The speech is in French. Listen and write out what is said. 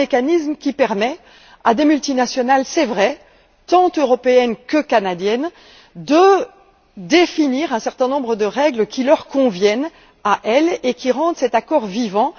C'est un mécanisme qui permet à des multinationales c'est vrai tant européennes que canadiennes, de définir un certain nombre de règles qui leur conviennent, à elles, et qui rendent cet accord vivant.